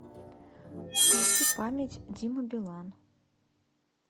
включи память дима билан